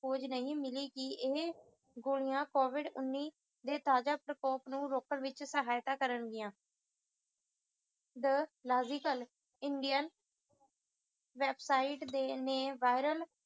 ਖੋਜ ਨਹੀਂ ਮਿਲੀ ਕਿ ਏਹੇ ਕੋਵਿਡ ਉੱਨੀ ਦੇ ਤਾਜਾ ਪ੍ਰਕੋਪ ਨੂੰ ਰੋਕਣ ਵਿਚ ਸਹਾਇਤਾ ਕਰਨਗਿਆਂ the logical indian website ਦੇ ਨੇ viral